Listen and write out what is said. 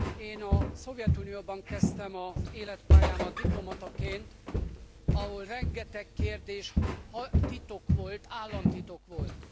Én a Szovjetunióban kezdtem az életpályámat, diplomataként, ahol rengeteg kérdés titok volt, államtitok volt.